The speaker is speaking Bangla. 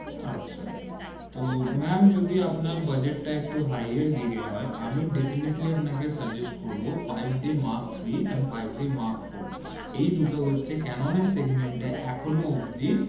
আচ্ছা তো ম্যাম যদি আপনার budget টা একটু high এর দিকে আমি definitely আপনাকে suggest করবো five d mark three and five d mark four এই দুটো হচ্ছে ক্যানোন এর segment এ এখনও অব্দি